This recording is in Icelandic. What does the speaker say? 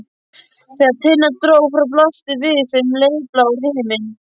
Þegar Tinna dró frá blasti við þeim heiðblár himinn.